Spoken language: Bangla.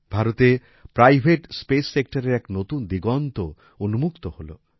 ভারতে প্রাইভেট স্পেস সেক্টরের এক নতুন দিগন্ত উন্মুক্ত হল